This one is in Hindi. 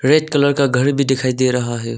रेड कलर का घर भी दिखाई दे रहा है।